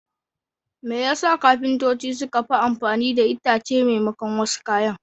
Me yasa kafintoci suke amfani da itace maimakon wasu kayan?